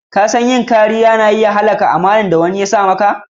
Ka san yin kariya na iya halakar da amana da wani ya sa maka?